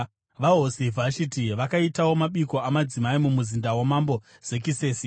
VaHosi Vhashiti vakaitawo mabiko amadzimai mumuzinda waMambo Zekisesi.